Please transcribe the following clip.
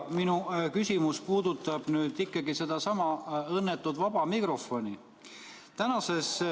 Minu küsimus puudutab sedasama õnnetut vaba mikrofoni.